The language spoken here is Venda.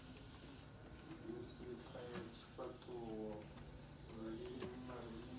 misipha ya tshifhaṱuwo lulimi marinini